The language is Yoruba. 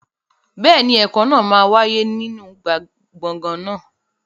Bẹ́ẹ̀ni, ẹ̀kọ́ náà máa wáyé nínú gbọ̀ngàn náà.